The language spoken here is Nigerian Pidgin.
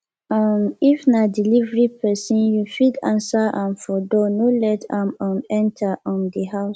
um if na delivery person you fit answer am for door no let am um enter um di house